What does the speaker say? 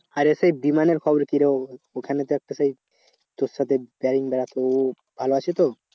আরে সেই বিমানের খবর কি রে? ওখানে তো একটা সেই তোর সাথে ভালো আছে তো?